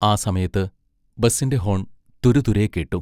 ആ സമയത്ത് ബസ്സിന്റെ ഹോൺ തുരുതുരെ കേട്ടു.